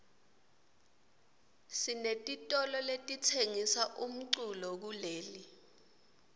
sinetitolo letitsengisa umculo kuleli